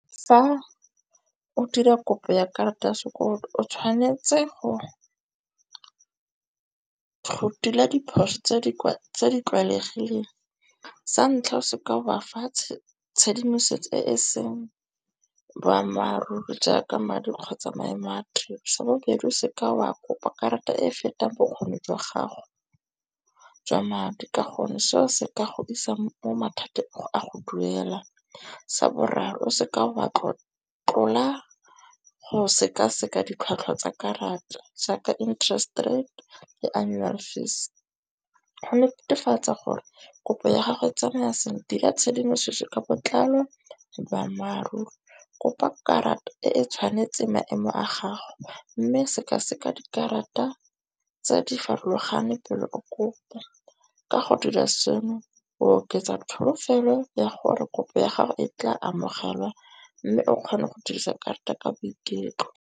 Fa o dira kopo ya karata ya sekoloto o tshwanetse go rutiwa diphoso tse di tlwaelegileng. Sa ntlha o seka wa fatshe tshedimosetso e e seng boammaaruri jaaka madi kgotsa maemo a tiro. Sa bobedi o se ke wa kopa karata e e fetang bokgoni jwa gago jwa madi, ka gonne seo se ka godisa mo mathateng a go duela. Sa boraro se ka wa tlotlola go sekaseka ditlhwatlhwa tsa karata jaaka interest rate le annual fees. Go netefatsa gore kopo ya gago e tsamaya sentle dira tshedimosetso ka botlalo boammaaruri kopa karata e e tshwanetseng maemo a gago mme sekaseka dikarata tse di farologaneng pelo o kopa. Ka go dira seno o oketsa tsholofelo ya gore kopo ya gago e tla amogelwa mme o kgone go dirisa karata ka boiketlo.